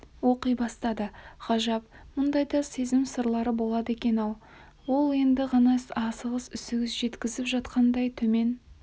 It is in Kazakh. оқи бастады ғажап мұндай да сезім сырлары болады екен-ау ол енді ғана асығыс-үсігіс жеткізіп жатқандай төмен